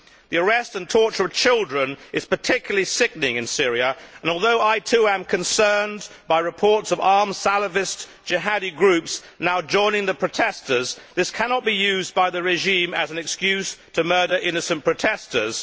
The arrest and torture of children is particularly sickening in Syria and, although I too am concerned by reports of Salafist jihadi groups now joining the protesters, this cannot be used by the regime as an excuse to murder innocent protesters.